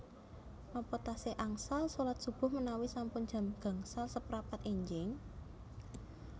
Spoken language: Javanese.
Nopo tasih angsal solat subuh menawi sampun jam gangsal seprapat enjing?